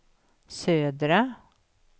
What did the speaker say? södra